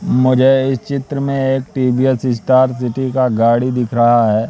मुझे इस चित्र में एक टी_वी_एस स्टार सिटी का गाड़ी दिख रहा है।